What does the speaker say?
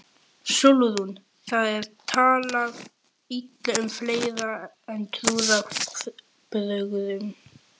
SÓLRÚN: Það er talað illa um fleira en trúarbrögðin.